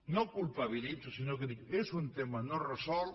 no culpabilitzo sinó que dic és un tema no resolt